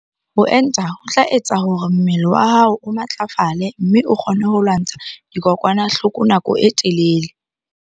Ho enta ho tla etsa hore mmele wa hao o matlafale mme o kgone ho lwantsha dikokwanahloko nako e telele.